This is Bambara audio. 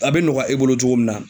A be nɔgɔya e bolo cogo min na